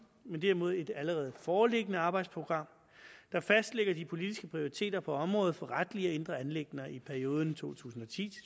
men derimod et allerede foreliggende arbejdsprogram der fastlægger de politiske prioriteter på området for retlige og indre anliggender i perioden to tusind og ti